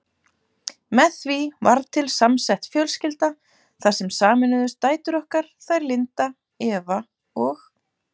Með því varð til samsett fjölskylda þar sem sameinuðust dætur okkar, þær Linda, Eva og